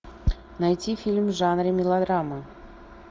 найти фильм в жанре мелодрама